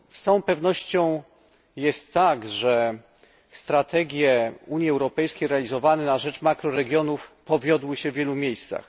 Z całą pewnością jest tak, że strategie Unii Europejskiej realizowane na rzecz makroregionów powiodły się w wielu miejscach.